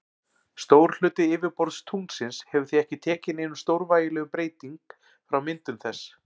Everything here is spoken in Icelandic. Stór hluti yfirborðs tunglsins hefur því ekki tekið neinum stórvægilegum breyting frá myndun þess.